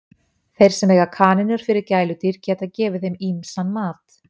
Þeir sem eiga kanínur sem gæludýr geta gefið þeim ýmsan mat.